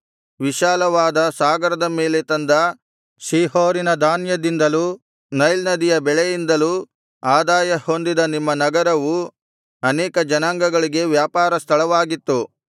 ವಿಶಾಲವಾದ ಸಾಗರದ ಮೇಲೆ ತಂದ ಶೀಹೋರಿನ ಧಾನ್ಯದಿಂದಲೂ ನೈಲ್ ನದಿಯ ಬೆಳೆಯಿಂದಲೂ ಆದಾಯಹೊಂದಿದ ನಿಮ್ಮ ನಗರವು ಅನೇಕ ಜನಾಂಗಗಳಿಗೆ ವ್ಯಾಪಾರ ಸ್ಥಳವಾಗಿತ್ತು